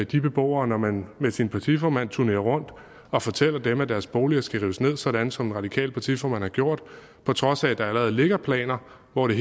de beboere når man med sin partiformand turnerer rundt og fortæller dem at deres boliger skal rives ned sådan som den radikale partiformand har gjort på trods af at der allerede ligger planer hvor det